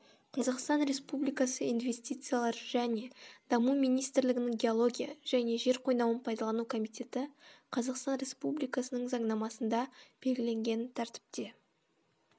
қазақстан республикасы инвестициялар және даму министрлігінің геология және жер қойнауын пайдалану комитеті қазақстан республикасының заңнамасында белгіленген тәртіпте